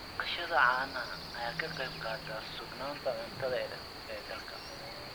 Dhaqashada caanaha ayaa ka qayb qaadata sugnaanta cuntada ee dalka.